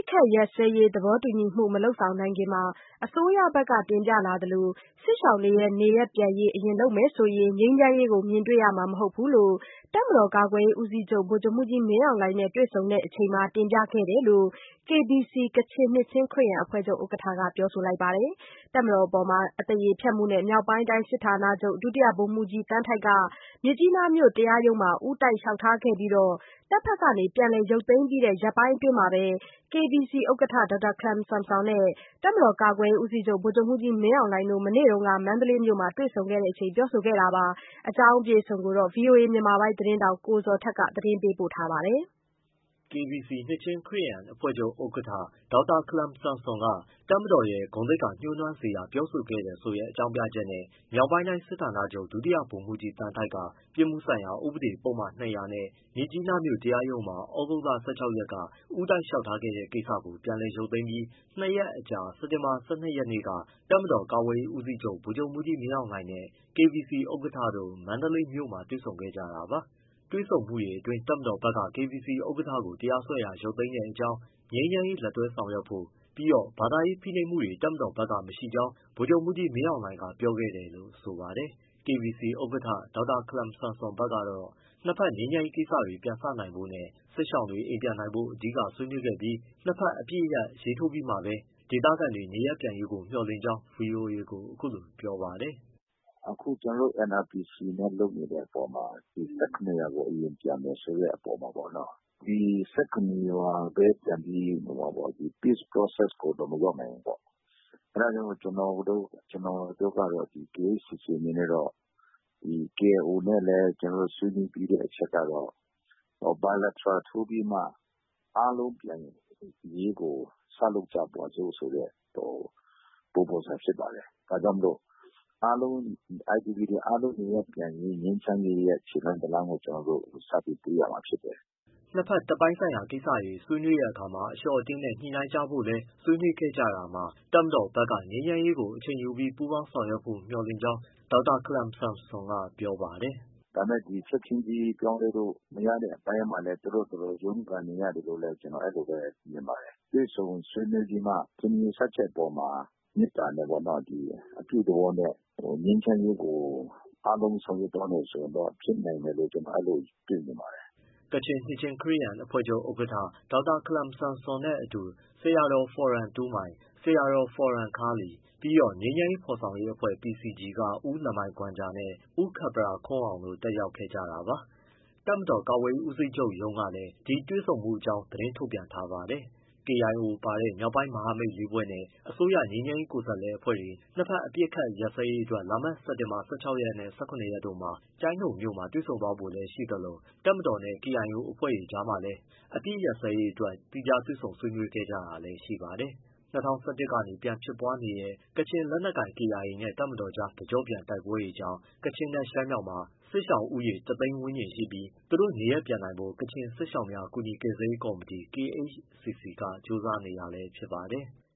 ခတ်ရပ်စဲရေး သဘောတူညီကို မလုပ်ဆောင်နိုင်ခင် အစိုးရဘက်က တင်ပြလာသလို စစ်ရှောင်တွေနေရပ်ပြန်ရေးကို အရင်လုပ်မယ်ဆိုရင် ငြိမ်းချမ်းရေးကို မြင်တွေ့ရမှာ မဟုတ်ဘူးလို့ တပ်မတော်ကာကွယ်ရေးဦးစီးချုပ် ဗိုလ်ချုပ်မှူးကြီး မင်းအောင်လှိုင်နဲ့ တွေ့ဆုံစဉ်တင်ပြခဲ့တယ်လို့ KBC ကချင်နှစ်ချင်း ခရစ်ယာန်အဖွဲ့ချုပ် ဥက္ကဋ္ဌက ပြောပါတယ်။ တပ်မတော်အပေါ် အသရေဖျက်မှုနဲ့ မြောက်ပိုင်းတိုင်းစစ်ဌာနချုပ် ဒုတိယ ဗိုလ်မှူးကြီး သန်းထိုက်က မြစ်ကြီးနားမြို့ တရားရုံးမှာ ဦးတိုက်လျှောက်ထားခဲ့တာကို တပ်မတော်ဘက်က ပြန်လည်ရုပ်သိမ်းပြီး ရက်ပိုင်းအတွင်းမှာဘဲ KBC ဥက္ကဋ္ဌနဲ့ ဗိုလ်ချုပ်မှူးကြီး မင်းအောင်လှိုင်တို့ မနေ့က မန္တလေးမြို့မှာ တွေ့ဆုံခဲ့ကြတာပါ။ ဒီအကြောင်း ဗွီအိုအေမြန်မာပိုင်းသတင်းထောက် ကိုဇော်ထက် မေးမြန်းပေးပို့ထားပါတယ်။ KBC ကချင်နှစ်ချင်း ခရစ်ယာန်အဖွဲ့ချုပ်ဥက္ကဋ္ဌ ခလမ်ဆန်ဆွမ်အနေနဲ့ တပ်မတော်ရဲ့ ဂုဏ်သိက္ခာညိုးနွမ်းစေတဲ့ ပြောဆိုခဲ့တယ်ဆိုတဲ့ အကြောင်းပြချက်နဲ့ မြောက်ပိုင်းတိုင်းစစ်ဌာနချုပ် ဒုတိယ ဗိုလ်မှူးကြီး သန်းထိုက်က ပြစ်မှုဆိုင်ရာ ဥပဒေပုဒ်မ ၂၀၀ နဲ့ မြစ်ကြီးနားမြို့ တရားရုံးမှာ သြဂုတ်လ ၁၆ ရက်နေ့က ဦးတိုက် လျှောက်ထားခဲ့တဲ့ ကိစ္စကို ပြန်လည် ရုပ်သိမ်းပြီး ၂ ရက်အကြာ စက်တင်ဘာ ၁၂ ရက်နေ့က တပ်မတော်ကာကွယ်ရေးဦးစီးချုပ် ဗိုလ်ချုပ်မှူးကြီး မင်းအောင်လှိုင်နဲ့ KBC ဥက္ကဋ္ဌတို့ မန္တလေးမြို့မှာ တွေ့ဆုံခဲ့ကြတာပါ။ တွေ့ဆုံမှုအတွင်း တပ်မတော်ဘက် KBC ဥက္ကဋ္ဌကိုတရားစွဲတာ ရုပ်သိမ်းတဲ့အကြောင်း၊ ငြိမ်းချမ်းရေးလက်တွဲဆောင်ရွက်ဖို့ ပြီးတော့ ဘာသာရေးဖိနှိပ်မှုတွေ တပ်မတော်ဘက်က မရှိကြောင်း ဗိုလ်ချုပ်မှူးကြီး မင်းအောင်လှိုင်က ပြောခဲ့တယ်လို့ ဆိုပါတယ်။ KBC ဥက္ကဋ္ဌ ဒေါက်တာခလမ်ဆန်ဆွမ် ဘက်ကတော့ နှစ်ဘက် ငြိမ်းချမ်းရေးကိစ္စတွေ ပြန်စနိုင်ဖို့နဲ့ စစ်ရှောင်တွေ အိမ်ပြန်နိုင်ဖို့ အဓိကဆွေးနွေးခဲ့ပြီး နှစ်ဘက် အပစ်ရပ်ရေးထိုးပြီးမှပဲ ဒေသခံတွေ နေရပ်ပြန်ရေးကို မျှော်လင့်ကြောင်း ဗွီအိုအေကို အခုလိုပြောပါတယ်။ “အခုကျနော်တို့နဲ့ NRPC နဲ့လုပ်နေတဲ့အပေါ်မှာ ၁၇ရွာကို အရင်ပြန်မယ်ဆိုတဲ့အပေါ်မှာ ဒီ ၁၇ ရွာပဲပြန်ပြီး Peace Process ကိုတော့ မရောက်နိုင်ဘူးပေါ့။ အဲဒါကြောင့်မို့ ကျနော်တို့ကတော့ KHCC အနေနဲ့ကတော့ KIO နဲ့လည်း ဆွေးနွေးပြီးတဲ့ အချက်ကတော့ bilateral ထိုးပြီးမှ အားလုံးပြန်ရေးကို စလုပ်ကြပါစို့ ဆိုတဲ့ ပုံစံဖြစ်ပါတယ်။ ဒါကြောင့် IDP တွေ အားလုံးနေရပ်ပြန်ရေးက ငြိမ်းချမ်းရေးရဲ့ ခြေလှမ်းတရပ်ကို ကျနော်တို့ စပြီးတွေ့ရမှာ ဖြစ်တယ်။” နှစ်ဘက် တပ်ပိုင်းဆိုင်ရာ ကိစ္စတွေ ဆွေးနွေးတဲ့အခါမှာ အလျှော့အတင်းနဲ့ ညှိနှိုင်းကြဖို့လည်း ဆွေးနွေးခဲ့ကြတာမှာ တပ်မတော်ဘက်ကလည်း ငြိမ်းချမ်းရေးကို အချိန်ယူပြီး ပူးပေါင်းဆောင်ရွက်ဖို့ မျှော်လင့်ကြောင်း ဒေါက်တာခလမ်ဆန်ဆွမ်က ပြောပါတယ်။ “ဒါပေမဲ့ ချက်ချင်းကြီး ပြောင်းလဲဖို့ မရတဲ့အပိုင်းမှာလည်း သူတို့ဘာသာသူတို့ ရုန်းကန်နေရတယ်လို့လည်း ကျနော် အဲလိုမြင်ပါတယ်။ တွေ့ဆုံဆွေးနွေးပြီးမှ ထင်မြင် ယူဆချက်အပေါ်မှာ မေတ္တာနဲ့ပေါ့။ အပြုသဘောနဲ့ ငြိမ်းချမ်းရေးကို အားလုံးဆောင်ရွက်သွားမယ် ဆိုရင်တော့ ဖြစ်နိုင်မယ်လို့ ကျနော် အဲလို မြင်ပါတယ်။” ကချင်နှစ်ချင်းခရစ်ယာန်အဖွဲ့ချုပ် ဥက္ကဋ္ဌ ဒေါက်တာ ခလမ်ဆန်ဆွမ်နဲ့ အတူ ဆရာတော် ဖော်ရော်တူးမိုင်၊ ဆရာ ဖော်ယမ်ခါးလီ ပြီးတော့ ငြိမ်းချမ်းရေး ဖော်ဆောင်ရေးအဖွဲ့ PCG က ဦးလမိုင်ဂွမ်ဂျာနဲ့ ဦးခပ်ပရာခွန်းအောင်တို့ တက်ရောက်ခဲ့တာပါ။ တပ်မတော်ကာကွယ်ရေး ဦးစီးချုပ်ရုံးကလည်း ဒီတွေ့ဆုံမှုအကြောင်း သတင်း ထုတ်ပြန်ထားပါတယ်။ KIO ပါတဲ့ မြောက်ပိုင်းမဟာမိတ်လေးဖွဲ့နဲ့ အစိုးရ ငြိမ်းချမ်းရေးကိုယ်စားလှယ်အဖွဲ့တွေ နှစ်ဘက် အပစ်အခတ်ရပ်စဲရေးအတွက် လာမယ့်စက်တင်ဘာ ၁၆ နဲ့ ၁၇ ရက်တို့မှာ ကျိုင်းတုံမြို့မှာ တွေ့ဆုံ ဆွေးနွေး ဖို့နေရှိသလို တပ်မတော်နဲ့ KIO အဖွဲ့တို့အကြားမှာလည်း အပစ်အခတ်ရပ်စဲရေးအတွက် သီးခြား တွေ့ဆုံ ဆွေးနွေးတာတွေ ရှိခဲ့ပါတယ်။ ၂၀၁၁ ကနေ ပြန်ဖြစ်ပွားနေတဲ့ ကချင်လက်နက်ကိုင် KIA နဲ့ တပ်မတော်ကြား တကျော့ပြန် တိုက်ပွဲတွေကြောင့် ကချင်နဲ့ ရှမ်းမြောက်မှာ စစ်ရှောင်ဦးရေ တ သိန်းဝန်းကျင်ရှိပြီး သူတို့နေရပ်ပြန်နိုင်ဖို့ ကချင်စစ်ရှောင်များ ကူညီကယ်ဆယ်ရေး ကော်မတီ KHCC က ကြိုးစားနေတာလည်း ဖြစ်ပါတယ်။